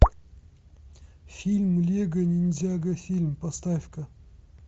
фильм лего ниндзяго фильм поставь ка